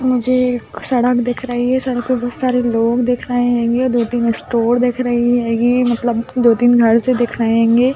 मुझे एक सड़क दिख रही है सड़क पे बोहोत सारे लोग दिख रहे हेंगे दो-तीन स्टोर दिख रहे हेगी मतलब दो-तीन घर से दिख रहे हेंगे।